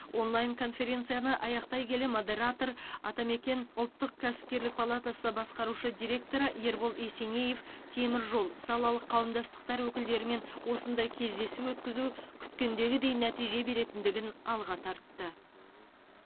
онлайн конференцияны аяқтай келе модератор атамекен ұлттық кәсіпкерлік палатасы басқарушы директоры ербол есенеев темір жол салалық қауымдастықтар өкілдерімен осындай кездесу өткізу күткендегідей нәтиже беретіндігін алға тартты